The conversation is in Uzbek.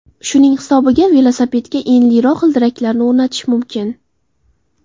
Shuning hisobiga velosipedga enliroq g‘ildiraklarni o‘rnatish mumkin.